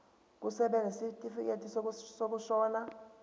kusebenza isitifikedi sokushona